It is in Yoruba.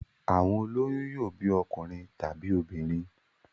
Àwọn ó lóyún yóò bí ọkùnrin tàbí obìnrin.